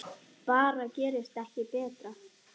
Bara gerist ekki betra!